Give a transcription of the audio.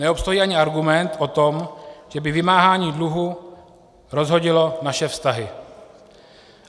Neobstojí ani argument o tom, že by vymáhání dluhu rozhodilo naše vztahy.